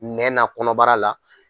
Nɛn na ,kɔnɔbara la